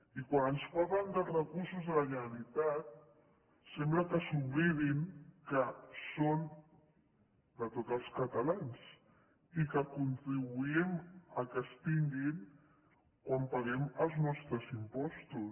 i quan ens parlen dels recursos de la generalitat sembla que s’oblidin que són de tots els catalans i que contribuïm que es tinguin quan paguem els nostres impostos